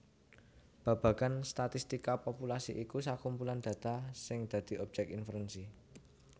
Babagan statistika populasi iku sakumpulan data sing dadi obyek inferensi